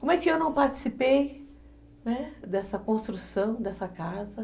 Como é que eu não participei, né, dessa construção, dessa casa?